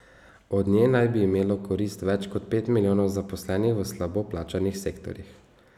Od nje naj bi imelo korist več kot pet milijonov zaposlenih v slabo plačanih sektorjih.